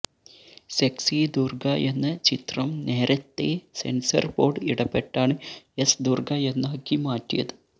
sexy Durga എന്ന ചിത്രം നേരത്തെ സെൻസർ ബോർഡ് ഇടപെട്ടാണ് എസ് ദുർഗ എന്നാക്കി മാറ്റിയത്